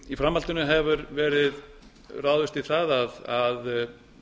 í framhaldinu hefur verið ráðist í það að